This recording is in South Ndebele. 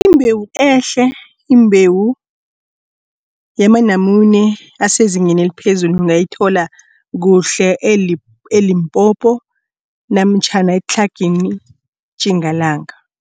Imbewu ehle imbewu yamanamune asezingeni eliphezulu ungayithola kuhle e-Limpopo namtjhana eTlhagwini Tjingalanga.